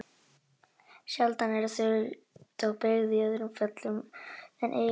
Sjaldan eru þau þó beygð í öðrum föllum en eignarfalli.